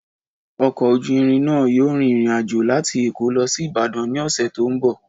Ọkọ̀ ojú irin náà yóò rin ìrìn àjò láti Èkó lọ sí Ìbàdàn ní ọ̀sẹ̀ tó ń bọ̀.